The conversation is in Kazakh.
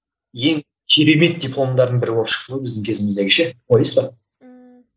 ең керемет дипломдардың бірі болып шықты ғой біздің кезіміздегі ше ойлайсыз ба ммм